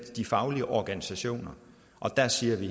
de faglige organisationer og der siger vi